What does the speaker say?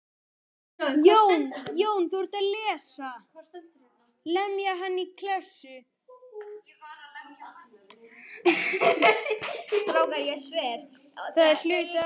Það er hluti af þessu.